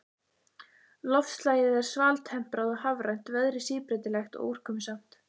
Loftslagið er svaltemprað og hafrænt, veðrið síbreytilegt og úrkomusamt.